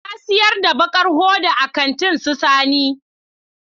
Na siyar da baƙar hoda a kantin su Sani